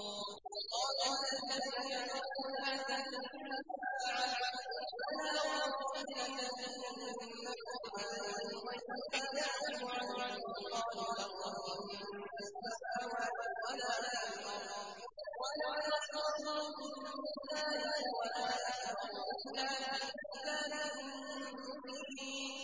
وَقَالَ الَّذِينَ كَفَرُوا لَا تَأْتِينَا السَّاعَةُ ۖ قُلْ بَلَىٰ وَرَبِّي لَتَأْتِيَنَّكُمْ عَالِمِ الْغَيْبِ ۖ لَا يَعْزُبُ عَنْهُ مِثْقَالُ ذَرَّةٍ فِي السَّمَاوَاتِ وَلَا فِي الْأَرْضِ وَلَا أَصْغَرُ مِن ذَٰلِكَ وَلَا أَكْبَرُ إِلَّا فِي كِتَابٍ مُّبِينٍ